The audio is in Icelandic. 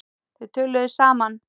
Þau töluðu saman.